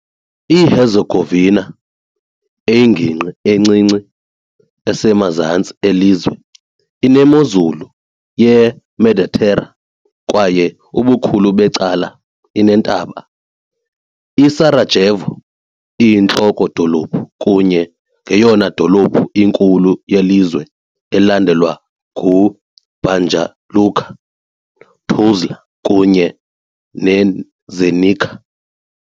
IHerzegovina, eyingingqi encinci, esemazantsi elizwe, inemozulu yeMeditera kwaye ubukhulu becala ineentaba. I-Sarajevo iyinhloko-dolophu kunye neyona dolophu inkulu yelizwe elandelwa nguBanja Luka, Tuzla kunye neZenica .